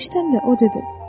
Bunu eşidəndə o dedi: